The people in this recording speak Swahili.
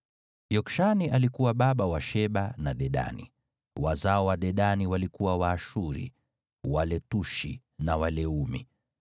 Yokshani alikuwa baba wa Sheba na Dedani, wazao wa Dedani walikuwa Waashuri, Waletushi na Waleumi.